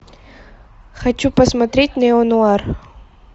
хочу посмотреть нео нуар